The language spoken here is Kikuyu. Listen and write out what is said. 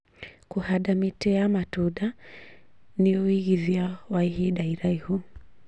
Kũhanda mĩtĩ ya matunda nĩ ũigithia wa ihinda iraihu